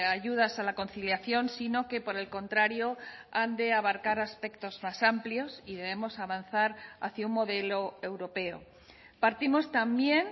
ayudas a la conciliación sino que por el contrario han de abarcar aspectos más amplios y debemos avanzar hacia un modelo europeo partimos también